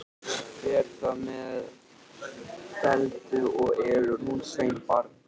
Fer það allt með felldu, og elur hún sveinbarn.